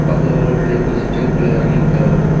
பக்கத்துல ஒரு ஆளு பைக் வச்சிட்டு கீழ இறங்கி நிற்கிறாரு.